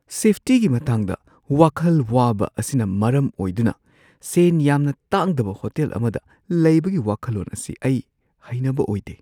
ꯁꯦꯐꯇꯤꯒꯤ ꯃꯇꯥꯡꯗ ꯋꯥꯈꯜ ꯋꯥꯕ ꯑꯁꯤꯅ ꯃꯔꯝ ꯑꯣꯏꯗꯨꯅ ꯁꯦꯟ ꯌꯥꯝꯅ ꯇꯥꯡꯗꯕ ꯍꯣꯇꯦꯜ ꯑꯃꯗ ꯂꯩꯕꯒꯤ ꯋꯥꯈꯜꯂꯣꯟ ꯑꯁꯤ ꯑꯩ ꯍꯩꯅꯕ ꯑꯣꯏꯗꯦ꯫